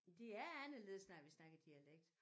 Det er anderledes når vi snakker dialekt